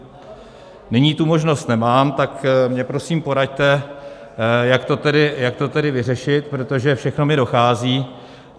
Nyní tu možnost nemám, tak mi prosím poraďte, jak to tedy vyřešit, protože všechno mi dochází.